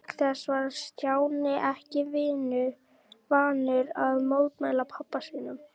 Auk þess var Stjáni ekki vanur að mótmæla pabba sínum.